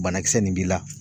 Banakisɛ nin b'i la